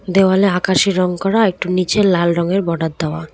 দেওয়ালে আকাশী রং করা আর একটু নীচে লাল রঙের বর্ডার দেওয়া।